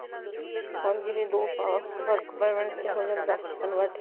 ਹਾਂਜੀ ਤੇ ਦੋ ਸਾਲ work permit ਵਿੱਚ ਹੋ ਜਾਂਦਾ convert